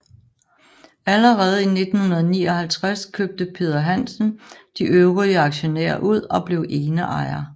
Allerede i 1959 købte Peder Hansen de øvrige aktionærer ud og blev eneejer